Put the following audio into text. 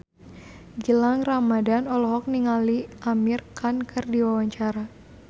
Gilang Ramadan olohok ningali Amir Khan keur diwawancara